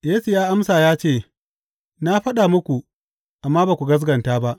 Yesu ya amsa ya ce, Na faɗa muku, amma ba ku gaskata ba.